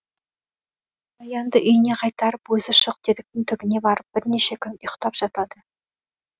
баянды үйіне қайтарып өзі шоқтеректің түбіне барып бірнеше күн ұйықтап жатады